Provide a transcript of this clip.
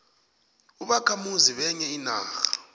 ubakhamuzi benye inarha